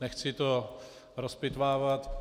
Nechci to rozpitvávat.